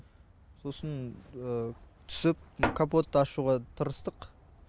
сосын түсіп капотты ашуға тырыстық